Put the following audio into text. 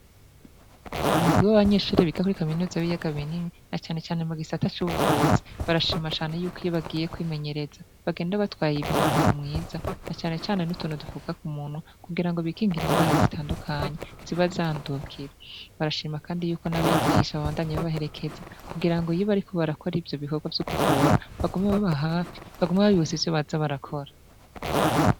Umugwi w'abanyeshure biga kuri kaminuza y'ibiyaga binini na canecane mu gisata c'ubuvuzi, barashima cane yuko iyo bagiye kwimenyereza bagenda batwaye umwambaro mwiza na canecane n'utuntu dufuka ku munwa kugira ngo bikingire ingwara zitandukanye ziba zandukira, barashima kandi yuko n'abigisha babandanya babaherekeza kugira ngo iyo bariko barakora ivyo bikorwa vyo kuvura bagume baba hafi bagume babibutsa ivyo baza barakora.